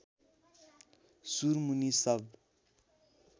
सुरमुनि सब